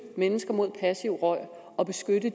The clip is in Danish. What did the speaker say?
mennesker mod passiv rygning og beskytte